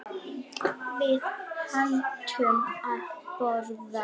Við hættum að borða.